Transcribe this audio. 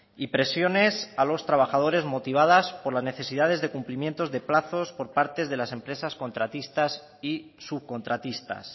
y presiones a los trabajadores motivadas por las necesidades de cumplimientos de plazos por parte de las empresas contratistas y subcontratistas